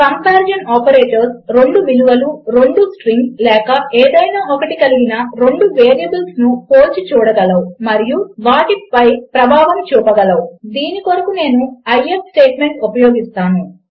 comparison operators 2 విలువలు 2 strings లేక ఏదైనా ఒకటి కలిగిన 2 వేరియబుల్స్ను పోల్చి చూడగలవు మరియు వాటిపై ప్రభావము చూపగలవు దీని కొరకు నేను ఐఎఫ్ స్టేట్మెంట్ ఉపయోగిస్తాను